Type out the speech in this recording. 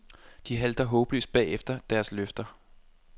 De halter håbløst bagefter deres løfter.